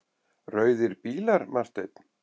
Rauðir bílar, Marteinn?